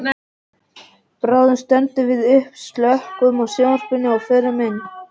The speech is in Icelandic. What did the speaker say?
Bráðum stöndum við upp, slökkvum á sjónvarpinu og förum inn.